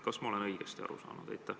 Kas ma olen õigesti aru saanud?